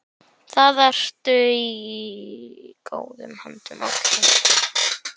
Þar ertu í góðum höndum.